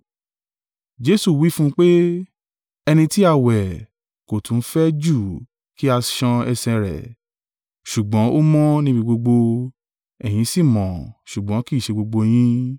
Jesu wí fún un pé, “Ẹni tí a wẹ̀ kò tún fẹ́ ju kí a ṣan ẹsẹ̀ rẹ̀, ṣùgbọ́n ó mọ́ níbi gbogbo: ẹ̀yin sì mọ́, ṣùgbọ́n kì í ṣe gbogbo yín.”